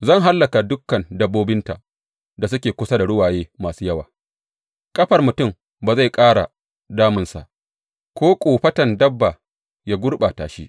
Zan hallaka dukan dabbobinta da suke kusa da ruwaye masu yawa ƙafar mutum ba zai ƙara damunsa ko kofaton dabba ya gurɓata shi.